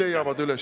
Aitäh!